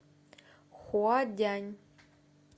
хуадянь